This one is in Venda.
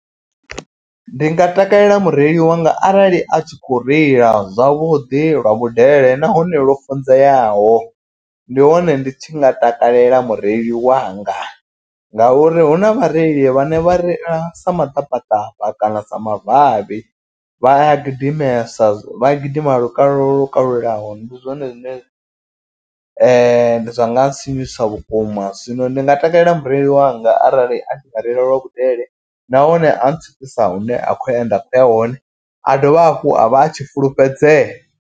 Ndi nga takalela mureili wanga arali a tshi khou reila zwavhuḓi lwa vhudele nahone lwo funzeaho. Ndi hone ndi tshi nga takalela mureili wanga ngauri hu na vhareili vhane vha reila sa maḓabaḓaba. Kana sa mavavhi vha a gidimesa vha a gidima lukalulaho lwo kalulaho. Ndi zwone zwine zwa nga sinyusa vhukuma zwino ndi nga takalela mureili wanga arali a tshi nga reila lwa vhudele. Nahone a ntswikisa hune a khou e nda khou ya hone a dovha hafhu a vha a tshi fulufhedzea.